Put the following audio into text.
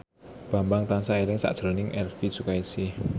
Bambang tansah eling sakjroning Elvy Sukaesih